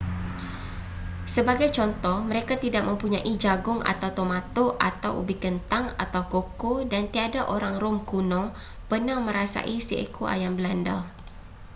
sebagai contoh mereka tidak mempunyai jagung atau tomato atau ubi kentang atau koko dan tiada orang rom kuno pernah merasai seekor ayam belanda